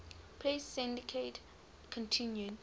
press syndicate continued